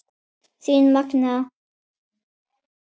Þín Magnea.